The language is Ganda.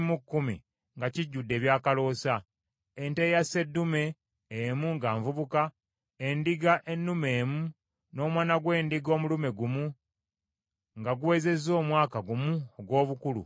ente eya sseddume emu nga nvubuka, endiga ennume emu, n’omwana gw’endiga omulume gumu nga guwezezza omwaka gumu ogw’obukulu, olw’ekiweebwayo ekyokebwa;